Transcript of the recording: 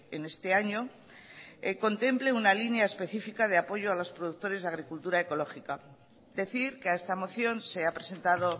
en este año contemple una línea específica de apoyo a los productores de agricultura ecológica decir que a esta moción se ha presentado